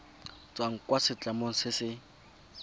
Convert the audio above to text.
tswang kwa setlamong se se